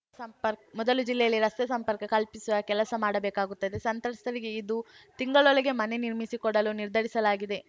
ಸಂಪರ್ಕ್ ಮೊದಲು ಜಿಲ್ಲೆಯಲ್ಲಿ ರಸ್ತೆ ಸಂಪರ್ಕ ಕಲ್ಪಿಸುವ ಕೆಲಸ ಮಾಡಬೇಕಾಗುತ್ತದೆ ಸಂತ್ರಸ್ತರಿಗೆ ಇದು ತಿಂಗಳೊಳಗೆ ಮನೆ ನಿರ್ಮಿಸಿಕೊಡಲು ನಿರ್ಧರಿಸಲಾಗಿದೆ